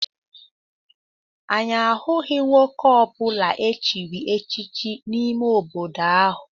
Anyị ahụghị nwoke ọ bụla echiri echichi n'ime obodo ahụ.